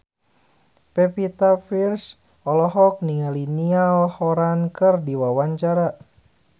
Pevita Pearce olohok ningali Niall Horran keur diwawancara